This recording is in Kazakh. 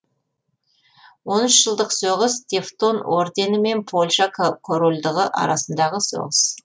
он үш жылдық соғыс тевтон ордені мен польша корольдығы арасындағы соғыс